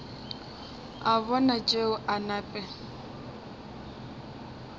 a bona tšeo a nape